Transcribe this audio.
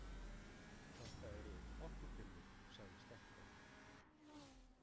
Þetta eru orkupillur, sagði Stenko.